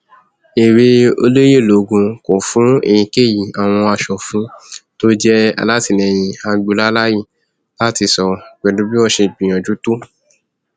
èwe ọlẹyẹlògún kò fún èyíkéyí àwọn asòfin tó jẹ alátìlẹyìn agboola láàyè láti sọrọ pẹlú bí wọn ṣe gbìyànjú tó